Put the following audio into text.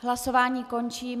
Hlasování končím.